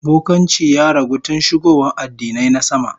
Bokanci ya ragu tun shigowa addinai na sama